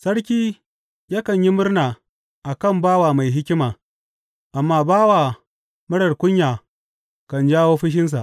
Sarki yakan yi murna a kan bawa mai hikima, amma bawa marar kunya kan jawo fushinsa.